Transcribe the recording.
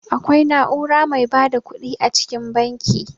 Akwai na'ura mai ba da ƙuɗi a cikin banki.